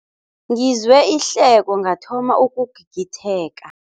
Ngizwe ihleko ngathoma ukugigitheka.